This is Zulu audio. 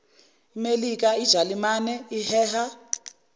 melika jalimane iheha